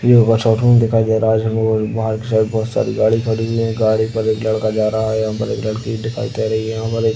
दिखाई दे रहा है जिसमे बाहर के साइड बोहोत सारी गाडी खड़ी हुई हैं। गाडी पर एक लड़का जा रहा है। अंदर एक लड़की दिखाई दे रही है। ह--